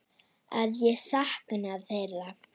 Að ég sakna þeirra.